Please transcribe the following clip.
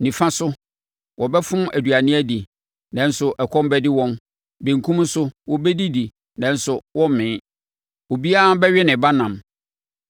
Nifa so, wɔbɛfom aduane adi, nanso ɛkɔm bɛde wɔn; benkum so, wɔbɛdidi, nanso wɔremmee. Obiara bɛwe ne ba ɛnam.